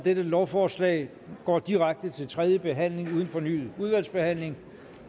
lovforslaget går direkte til tredje behandling uden fornyet udvalgsbehandling